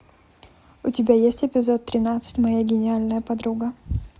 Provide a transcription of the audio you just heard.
у тебя есть эпизод тринадцать моя гениальная подруга